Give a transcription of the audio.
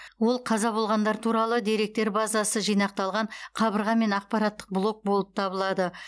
ол қаза болғандар туралы деректер базасы жинақталған қабырға мен ақпараттық блок болып табылады